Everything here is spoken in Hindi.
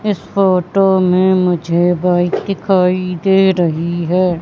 इस फोटो में मुझे बाइक दिखाई दे रही है।